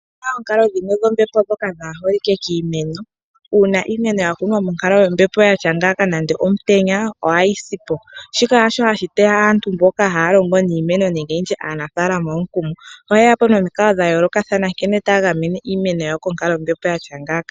Opu na oonkalo dhimwe dhombepo ndhoka kaadhi holike kiimeno. Uuna iimeno ya kunwa moonkalo dhombepo dha tya ngiika nande omutenya ohayi si po. Shika hasho hashi teya aantu mboka haya longo niimeno nenge aanafaalama omukumo. Ohaye ya po nomikalo dha yoolokathana nkene taya gamene iimeno yawo konkalo yombepo yatya ngaaka.